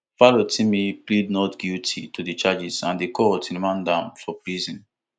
farotimi plead not guilty to di charges and di court remand am for prison